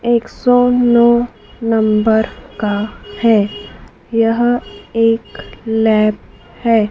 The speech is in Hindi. एक सौ नौ नंबर का है यह एक लैब है।